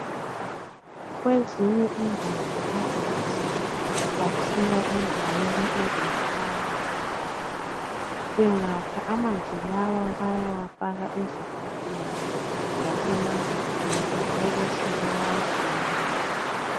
Kwezinye indawo amanzi akhiwa endaweni eluhambo. Bengakha amanzi lawa, bayawafaka ezigubhini, lasemagabheni bebesebewagcina.